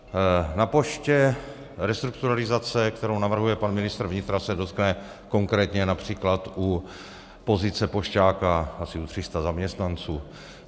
Na poště restrukturalizace, kterou navrhuje pan ministr vnitra, se dotkne konkrétně například u pozice pošťáka asi tří set zaměstnanců.